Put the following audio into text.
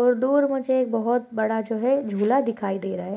और दूर मुझे बहुत बड़ा जो है झूला दिखाई दे रहा है।